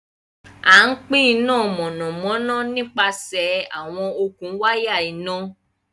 Àn pin iná mọ́nàmọ́nà nípasẹ̀ awọn okun wàya iná.